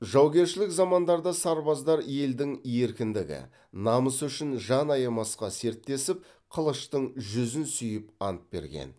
жаугершілік замандарда сарбаздар елдің еркіндігі намысы үшін жан аямасқа серттесіп қылыштың жүзін сүйіп ант берген